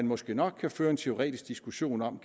måske nok kan føre en teoretisk diskussion om